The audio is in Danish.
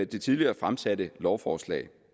det tidligere fremsatte lovforslag